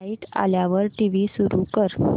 light आल्यावर TV सुरू कर